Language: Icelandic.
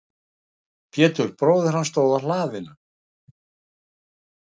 Pétur bróðir hans stóð á hlaðinu.